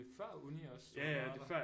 Det er før uni også at du har været der